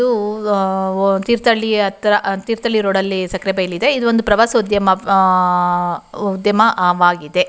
ಇದು ಆಹ್ಹ್ ತೀರ್ಥಹಳ್ಳಿ ಹತ್ರ ತೀರ್ಥಹಳ್ಳಿ ರೋಡ್ ಅಲ್ಲಿ ಸಕ್ಕರೆ ಬೈಲ್ ಇದೆ ಇದು ಒಂದು ಪ್ರವಾಸೋದ್ಯಮ ಆಹ್ಹ್ ಪ್ರವಾಸೋದ್ಯಮ ಆಗಿದೆ.